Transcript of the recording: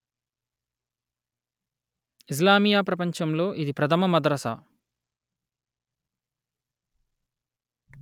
ఇస్లామీయ ప్రపంచం లో ఇది ప్రధమ మదరసా